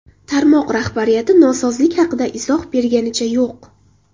Tarmoq rahbariyati nosozlik haqida izoh berganicha yo‘q.